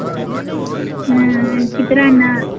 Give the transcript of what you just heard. ಹ್ಮ್ ಚಿತ್ರಾನ್ನ.